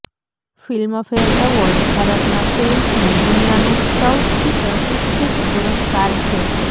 Filmfare award ભારતમાં ફિલ્મ્સની દુનિયાનો સૌથી પ્રતિષ્ઠિત પુરસ્કાર છે